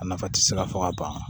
A nafa tɛ se ka fɔ ka ban